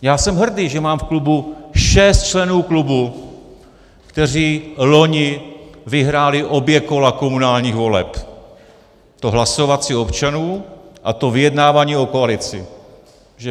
Já jsem hrdý, že mám v klubu šest členů klubu, kteří loni vyhráli obě kola komunálních voleb - to hlasovací občanů a to vyjednávání o koalici.